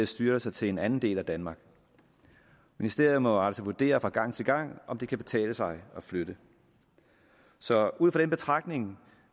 styrelser til en anden del af danmark ministerierne må altså vurdere fra gang til gang om det kan betale sig at flytte så ud fra den betragtning